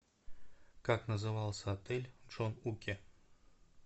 как назывался отель в джон уке